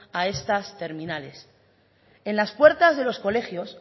a estas terminales en las puertas de los colegios